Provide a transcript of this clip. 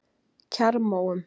Kjarrmóum